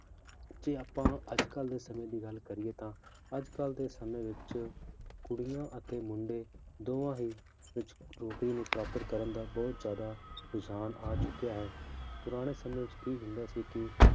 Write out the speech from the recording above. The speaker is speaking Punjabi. ਕੀ ਆਪਾਂ ਅੱਜ ਕੱਲ੍ਹ ਦੇ ਸਮੇਂ ਦੀ ਗੱਲ ਕਰੀਏ ਤਾਂ ਅੱਜ ਕੱਲ੍ਹ ਦੇ ਸਮੇਂ ਵਿੱਚ ਕੁੜੀਆਂ ਅਤੇ ਮੁੰਡੇ ਦੋਵਾਂ ਹੀ ਵਿੱਚ ਨੌਕਰੀ ਨੂੰ ਪ੍ਰਾਪਤ ਕਰਨ ਦਾ ਬਹੁਤ ਜ਼ਿਆਦਾ ਰੁਝਾਨ ਆ ਚੁੱਕਿਆ ਹੈ, ਪੁਰਾਣੇ ਸਮੇਂ ਵਿੱਚ ਕੀ ਹੁੰਦਾ ਸੀ ਕਿ